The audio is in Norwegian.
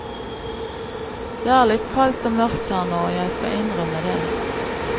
Det er litt kaldt og mørkt her nå, jeg skal innrømme det.